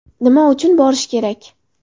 Nima uchun borish kerak?